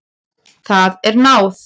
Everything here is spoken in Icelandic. Það er náð.